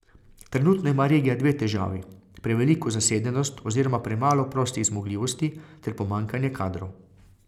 Trenutno ima regija dve težavi, preveliko zasedenost oziroma premalo prostih zmogljivosti ter pomanjkanje kadrov.